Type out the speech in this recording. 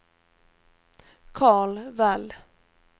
Karl Wall